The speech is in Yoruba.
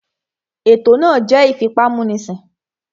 Ètò náà jẹ́ ìfipámúnisìn